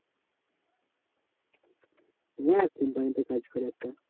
হ্যাঁ company তে কাজ করে একটা।